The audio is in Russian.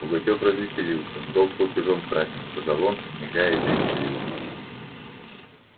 пугачёв развеселился долг платежом красен сказал он мигая и прищуриваясь